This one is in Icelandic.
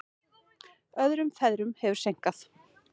Öðrum ferðum hefur seinkað.